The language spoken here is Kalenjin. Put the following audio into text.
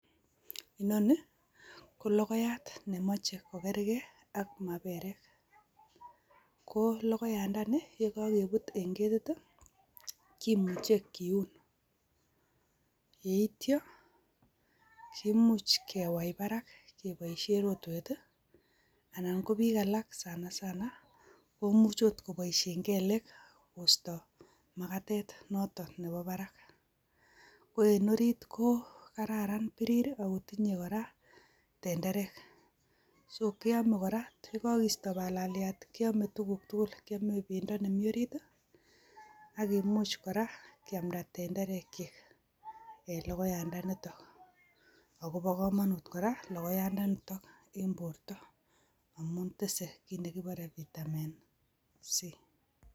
Inoni, ko logoyat nemoche kokerke ak maperek. Ko logoyandani ye kokepuut en ketit, kimuche kiun. Yeityo, imuch kewai parak keboisien rotwet, ana ko piik alak sanasana, komuch ot koboisien kelek kosto Magatet noto nebo barak. En orit, ko kararan pirir, agotinye kora tenderek. So kiome kora yekokisto palaliat, kiome tuguk tugul. Kiome pendo nemi orit, akimuch kora kiamda tenderekyik. En logoyandanitok. Akobo komonut kora, logoyandani tok en borto. Amun tese kiit nekipore vitamin C.